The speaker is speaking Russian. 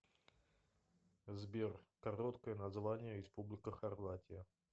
сбер короткое название республика хорватия